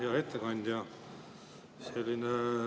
Hea ettekandja!